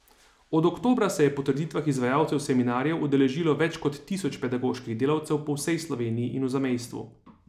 Od oktobra se je po trditvah izvajalcev seminarjev udeležilo več kot tisoč pedagoških delavcev po vsej Sloveniji in v zamejstvu.